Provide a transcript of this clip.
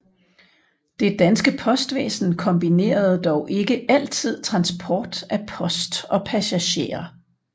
Det danske postvæsen kombinerede dog ikke altid transport af post og passagerer